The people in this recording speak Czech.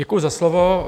Děkuju za slovo.